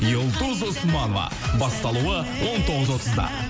юлдуз усманова басталуы он тоғыз отызда